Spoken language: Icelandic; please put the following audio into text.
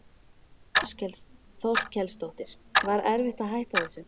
Þórhildur Þorkelsdóttir: Var erfitt að hætta þessu?